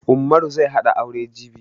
Ummaru zai hada aure jibi